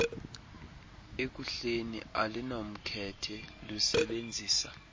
ekuhleni alunamkhethe lusebenzisa